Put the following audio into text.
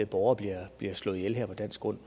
borgere bliver slået ihjel her på dansk grund